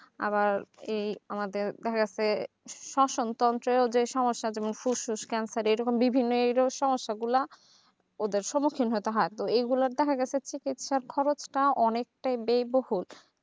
আবার এই আমাদের দেখা গেছে শোষণতন্ত্রে যে সমস্যা যেমন ফুসফুস cancer এই রকম বিভিন্ন রজার সমস্যা গুলা এদের স্মুখীন হতে হবে এই গুলা দেখা যে চিকিৎসার খরচটা অনেকটাই ব্যায়বহুল